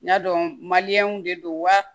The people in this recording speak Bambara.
N y'a dɔn de don wa